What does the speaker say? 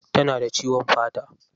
Tana da ciwon fata.